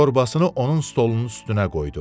torbasını onun stolunun üstünə qoydu.